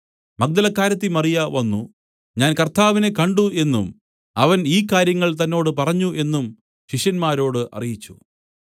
മഗ്ദലക്കാരത്തി മറിയ വന്നു ഞാൻ കർത്താവിനെ കണ്ട് എന്നും അവൻ ഈ കാര്യങ്ങൾ തന്നോട് പറഞ്ഞു എന്നും ശിഷ്യന്മാരോട് അറിയിച്ചു